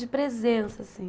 De presença, assim.